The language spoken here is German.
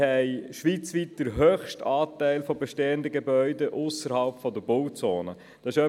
Schweizweit haben wir den höchsten Anteil an bestehenden Gebäuden, die sich ausserhalb der Bauzone befinden.